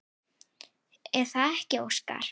Er það ekki Óskar?